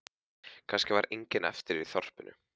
Kannski var enginn eftir í þorpinu.